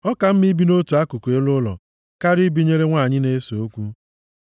Ọ ka mma ibi nʼotu akụkụ elu ụlọ karịa ibinyere nwanyị na-ese okwu.